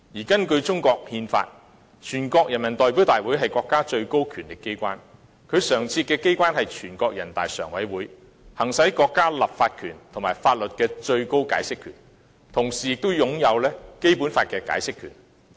根據中國憲法，全國人民代表大會是國家的最高權力機關，其常設機關是人大常委會，行使國家立法權和法律的最高解釋權，同時也擁有《基本法》的解釋權。